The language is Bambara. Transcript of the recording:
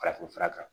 Farafinfura kan